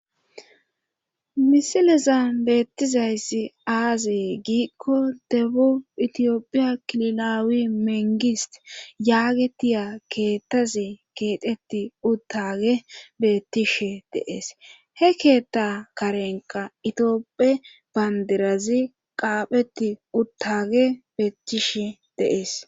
Misilezan beettizayssi aazie giikko debu itiyophiya kililaawi mengis yaagetiya keettazi keeteti uttage bettishe deees he keetta karenqa itioophe bandirazi qaapheti uttage beettishe deees